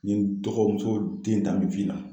N ye dɔgɔmuso den ta me na